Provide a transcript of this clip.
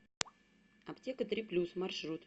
аптека три плюс маршрут